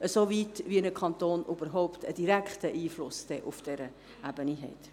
Das gilt in diesem Rahmen, in dem der Kanton überhaupt einen direkten Einfluss auf dieser Ebene hat.